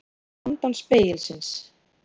Hvað er handan spegilsins